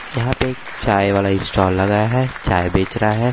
यहाँ पर एक चाय वाला स्टाल लगा है चाय बेच रहा है।